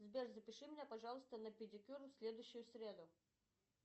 сбер запиши меня пожалуйста на педикюр в следующую среду